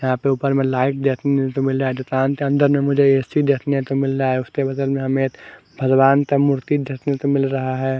यहाँ पे ऊपर में लाइट देखने को मिल रहा है दुकान के अंदर ए_ सी देखने को मिल रहा है उसके बगल में हमें भगवान का मूर्ति देखने को मिल रहा है।